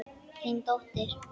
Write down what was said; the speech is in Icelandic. Þín dóttir.